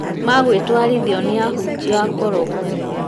magwĩtwarithio nĩ ahunjia akoroku